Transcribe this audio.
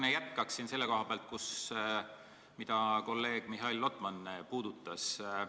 Ma jätkan sellel teemal, mida kolleeg Mihhail Lotman puudutas.